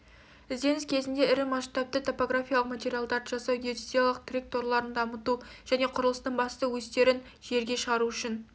ізденіс кезеңінде ірі масштабты топографиялық материалдарды жасау геодезиялық тірек торларын дамыту және құрылыстың басты өстерін жерге шығару үшін